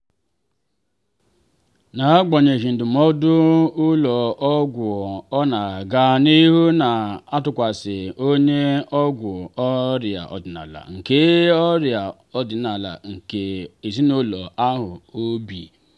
n'agbanyeghị ndụmọdụ ụlọ ọgwụ ọ na-aga n'ihu na-atụkwasị onye ọgwọ ọria ọdịnala nke ọria ọdịnala nke ezinụlọ ahụ obi.